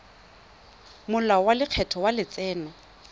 molao wa lekgetho wa letseno